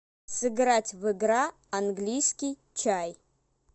сыграть в игра английский чай